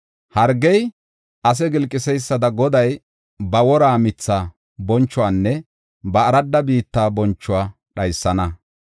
Hargey ase gilqiseysada Goday ba wora mitha bonchuwanne ba aradda biitta bonchuwa dhaysana.